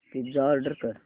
pizza order कर